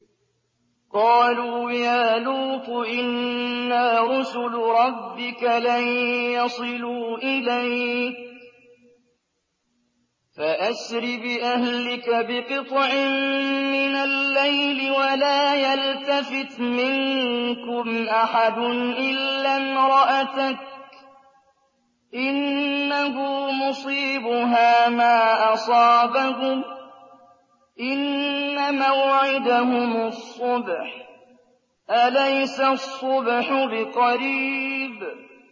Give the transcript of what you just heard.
قَالُوا يَا لُوطُ إِنَّا رُسُلُ رَبِّكَ لَن يَصِلُوا إِلَيْكَ ۖ فَأَسْرِ بِأَهْلِكَ بِقِطْعٍ مِّنَ اللَّيْلِ وَلَا يَلْتَفِتْ مِنكُمْ أَحَدٌ إِلَّا امْرَأَتَكَ ۖ إِنَّهُ مُصِيبُهَا مَا أَصَابَهُمْ ۚ إِنَّ مَوْعِدَهُمُ الصُّبْحُ ۚ أَلَيْسَ الصُّبْحُ بِقَرِيبٍ